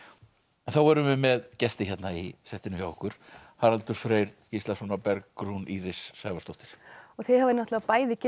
þá erum við með gesti hérna í settinu hjá okkur Haraldur Freyr Gíslason og Bergrún Íris Sævarsdóttir þið hafið bæði getið